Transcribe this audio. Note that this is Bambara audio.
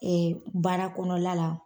baara kɔnɔla la.